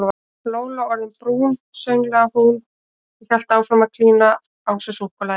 Lóló orðin brún sönglaði hún og hélt áfram að klína á sig súkkulaði.